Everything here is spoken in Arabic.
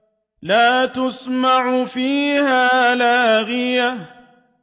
لَّا تَسْمَعُ فِيهَا لَاغِيَةً